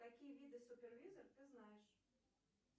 какие виды супервизор ты знаешь